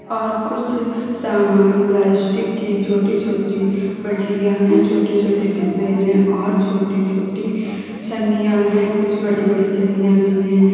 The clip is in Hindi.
और कुछ सामान प्लास्टिक की छोटी छोटी बाल्टियां हैं छोटे छोटे डिब्बे हैं और छोटे छोटे छन्नियां कुछ बड़ी बड़ी छन्नियां भी हैं।